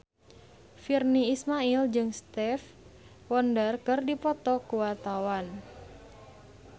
Virnie Ismail jeung Stevie Wonder keur dipoto ku wartawan